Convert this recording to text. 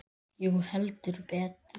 Jú, heldur betur